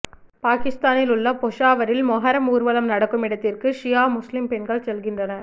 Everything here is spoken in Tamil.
பாக்கிஸ்தானில் உள்ள பெஷாவரில் மொஹரம் ஊர்வலம் நடக்கும் இடத்திற்கு ஷியா முஸ்லீம் பெண்கள் செல்கின்றனர்